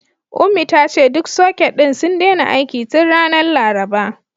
Ummi ta ce duk soket ɗin sun daina aiki tun ranar Laraba.